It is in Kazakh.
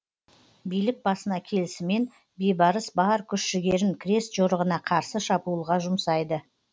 билік басына келісімен бейбарыс бар күш жігерін крест жорығына қарсы шабуылға жұмсайды